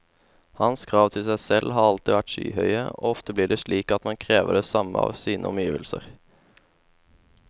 Hans krav til seg selv har alltid vært skyhøye, og ofte blir det slik at man krever det samme av sine omgivelser.